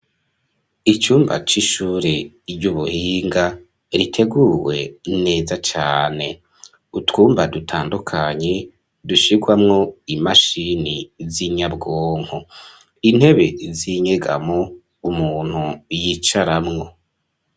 Icumba c'ishure iryo ubuhinga riteguwe neza cane utwumba dutandukanye dushirwamwo imashini z'inyabwonko intebe z'inyegamo umuntu yicaramwo.